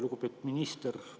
Lugupeetud minister!